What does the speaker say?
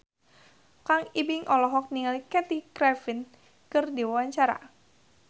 Kang Ibing olohok ningali Kathy Griffin keur diwawancara